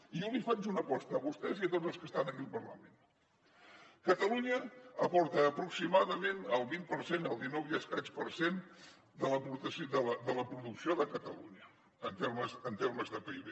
i jo els faig una aposta a vostès i a tots els que estan aquí al parlament catalunya aporta aproximadament el vint per cent el dinou i escaig per cent de la producció de catalunya en termes de pib